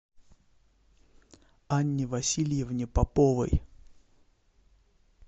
анне васильевне поповой